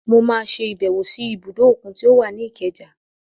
Mọ máa ṣe ìbẹ̀wò sí ibùdó òkun tí ó wà ní Ikeja.